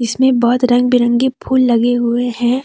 जिसमें बहोत रंग बिरंगे फूल लगे हुए हैं।